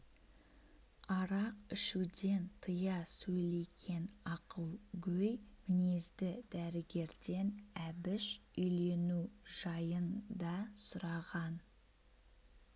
арақ ішуден тыя сөйлеген ақылгөй мінезді дәрігерден әбіш үйлену жайын да сұраған